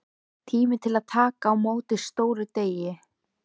Tími til að taka á móti stórum degi.